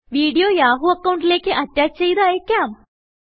video Yahoo അക്കൌണ്ടിലേക്ക് attach ചെയ്ത് അയക്കാം